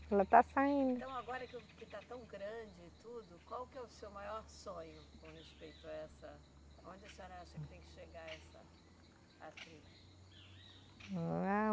Ela está saindo. Então agora que o, que está tão grande e tudo, qual que é o seu maior sonho com respeito a essa? Onde a senhora acha que tem que chegar essa